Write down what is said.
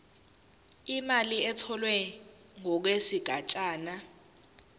imali etholwe ngokwesigatshana